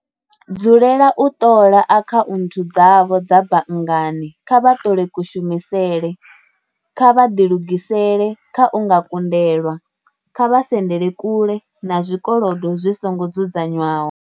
Dzulela u ṱola akhaunthu dzavho dza banngani kha vha ṱole kushumisele. Kha vha ḓilugisele kha u nga kundelwa. Kha vha sendele kule na zwikolodo zwi songo dzudzanywaho.